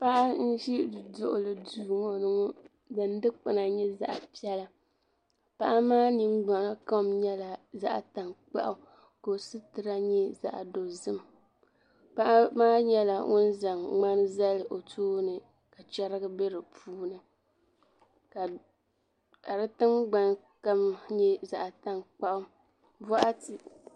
Paɣa n ʒi duɣuli duu ŋɔ din dikpina nyɛ zaɣa piɛla paɣa maa ningbina kom nyɛla zaɣa tankpaɣu ka o situra nyɛ zaɣa dozim paɣa maa nyɛla ŋun za ŋmani zali o tooni ka cheriga be di puuni ka di tingbani kama nyɛ zaɣa tankpaɣu boɣati.